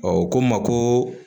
u ko n ma ko